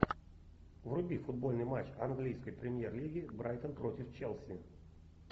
вруби футбольный матч английской премьер лиги брайтон против челси